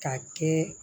Ka kɛ